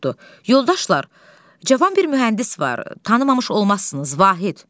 Yoldaşlar, cavan bir mühəndis var, tanımamış olmazsınız, Vahid.